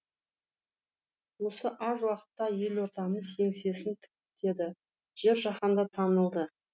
осы аз уақытта елордамыз еңсесін тіктеді жер жаһанға танылды